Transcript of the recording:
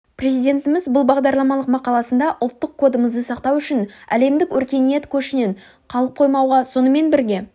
президентіміз бұл бағдарламалық мақаласында ұлттық кодымызды сақтау үшін әлемдік өркениет көшінен қалып қоймауға сонымен бірге